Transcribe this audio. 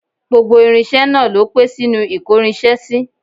Gbogbo irinṣẹ́ náà ló pé sínú ìkórinṣẹ́ sí